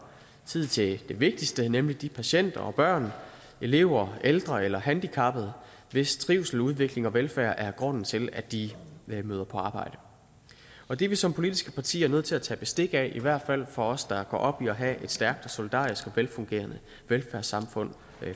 tid til det vigtigste nemlig de patienter og børn elever ældre eller handicappede hvis trivsel udvikling og velfærd er grunden til at de møder på arbejde det er vi som politiske partier nødt til at tage bestik af i hvert fald os der går op i at have et stærkt og solidarisk og velfungerende velfærdssamfund